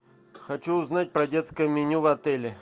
хочу узнать про детское меню в отеле